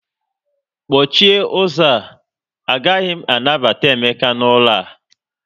Kpọchie ụzọ, a gaghị anabata Emeka n'ụlọ a